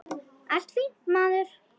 Allt fínt, maður.